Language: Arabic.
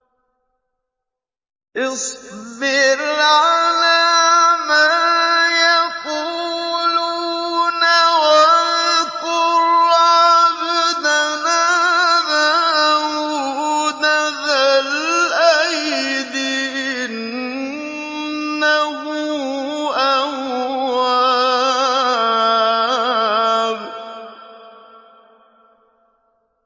اصْبِرْ عَلَىٰ مَا يَقُولُونَ وَاذْكُرْ عَبْدَنَا دَاوُودَ ذَا الْأَيْدِ ۖ إِنَّهُ أَوَّابٌ